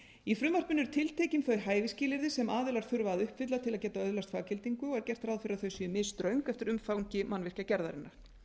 í frumvarpinu eru tiltekin þau hæfisskilyrði sem aðilar þurfa að uppfylla til að geta öðlast faggildingu og er gert ráð fyrir að þau séu misströng eftir umfangi mannvirkjagerðarinnar